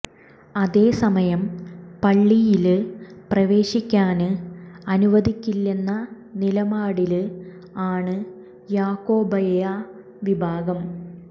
അതേ സമയം പള്ളിയില് പ്രവേശിക്കാന് അനുവദിക്കില്ലെന്ന നിലപാടില് ആണ് യാക്കോബായ വിഭാഗം